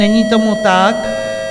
Není tomu tak.